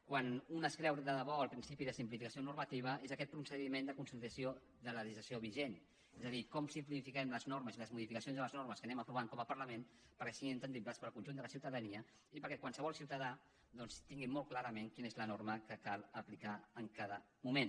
quan es creu de debò el principi de simplificació normativa és aquest procediment de consolidació de la legislació vigent és a dir com simplifiquem les normes i les modificacions a les normes que anem aprovant com a parlament perquè siguin comprensibles per al conjunt de la ciutadania i perquè qualsevol ciutadà doncs tingui molt clar quina és la norma que cal aplicar en cada moment